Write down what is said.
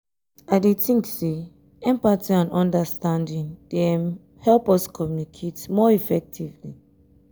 i dey think say empathy and understanding dey um help us communicate more effectively.